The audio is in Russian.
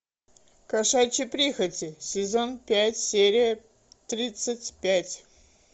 кошачьи прихоти сезон пять серия тридцать пять